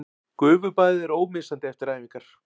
Gufubaðið er ómissandi eftir æfingar